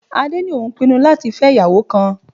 Adé ní òun pinnu láti fẹ́ ìyàwó kan.